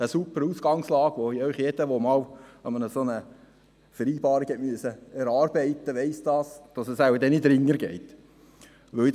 Eine super Ausgangslage, von der jeder, der einmal eine solche Vereinbarung erarbeiten musste, weiss, dass es wohl nicht einfacher gehen wird.